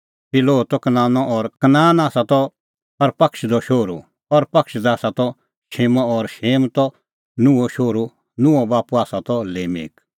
शिलोह त कनानो और कनान आसा त अरफक्षदो शोहरू अरफक्षद आसा त शेमो और शेम त नूहो शोहरू नूहो बाप्पू आसा त लेमेक